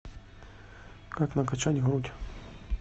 как накачать грудь